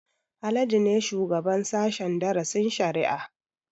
Haladu ne shugaban sashen darasin shari'a